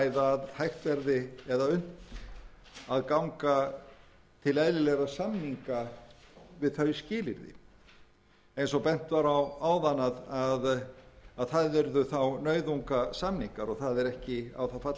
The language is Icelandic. að hægt verði eða unnt að ganga til eðlilegra samninga við þau skilyrði eins og bent var á áðan að það yrðu nauðungasamningar og það er ekki á það fallist að það væri eðlilegt